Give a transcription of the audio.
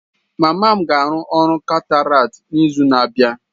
Mama m ga-arụ ọrụ cataract n'izu na-abịa.